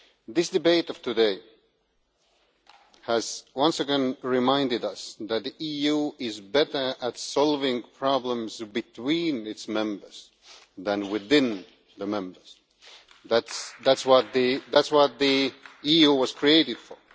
This debate of today has once again reminded us that the EU is better at solving problems between its Members than within the Members. That is what the EU was created for.